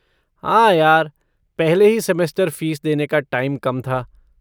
हाँ यार, पहले ही सेमेस्टर फ़ीस देने का टाइम कम था।